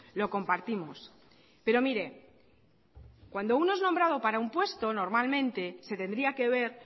lo compartimos pero mire cuando uno es nombrado para un puesto normalmente se tendría que ver